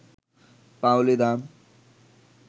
পাউলি দাম